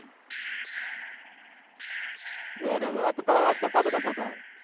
બરાબર બરાબર અતો તાર અવાજ કપાતો કપાતો આવતો હતો.